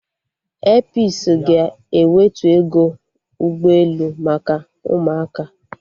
Airpisi ga-ewetu ego ụgbọ elu maka ụmụaka